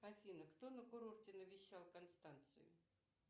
афина кто на курорте навещал констанцию